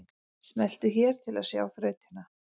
Smelltu hér til að sjá þrautina